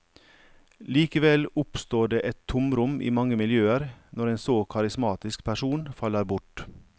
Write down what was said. Likevel oppstår det et tomrom i mange miljøer når en så karismatisk person faller bort.